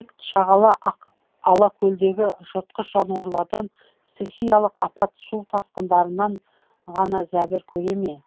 шағала алакөлдегі жыртқыш жануарлардан стихиялық апат су тасқындарынан ғана зәбір көре ме